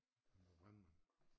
Han var brandmand